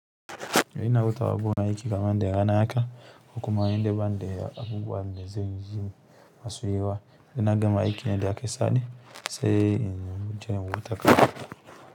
To ina hutuwa a gun aiki kaman da rana haka ko kuma inde bani de abubuwan da zanyi masu yawa saina gama aiki na de aka sani se ini je in huta.